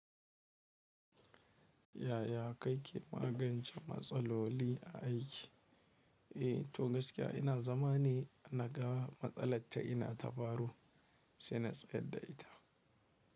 Yaya ka ke magance matsaloli a aiki? Eh, to gaskiya ina zama ne naga matsalar ta ina ta faru sai na tsayar da ita.